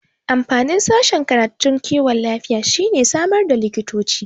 Amfanin sashen karatun kiwon lafiya shine samar da likitoci